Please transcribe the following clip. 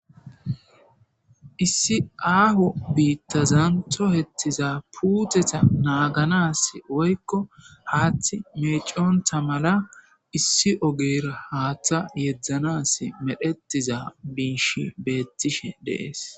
issi aaho biittazanto hettiza puuteta naaganas woykko haaththi meeconta mala issi ogeyra haaththa yeedzdzanas medhetiza biish beettishe deees